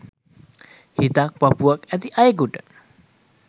හිතක් පපුවක් ඇති අයෙකුට